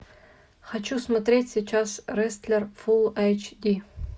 хочу смотреть сейчас рестлер фул айч ди